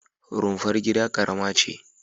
Rumfar gida ƙarama ce.